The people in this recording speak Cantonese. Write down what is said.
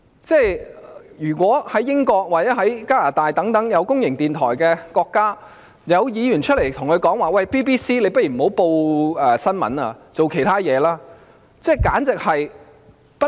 在英國或加拿大等設有公營電台的國家，當地議員會否公開叫公營電台不要報道新聞而轉做其他工作？